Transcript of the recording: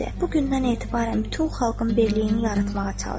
Bugündən etibarən bütün xalqın birliyini yaratmağa çalış.